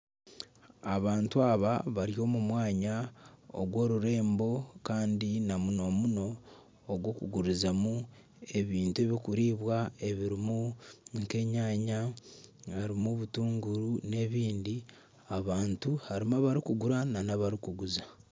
Abantu aba bari omu mwanya ogw'orurembo kandi namunomuno ogw'okugurizamu ebintu ebirikuribwa ebirimu nka enyanya harimu obutuunguru n'ebindi, abantu harimu abarikugura n'abarikuguza.